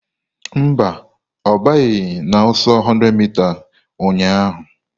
Ee, ọ banyeghị n'ọsọ 100m ụnyahụ